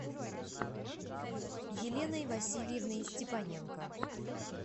еленой васильевной степаненко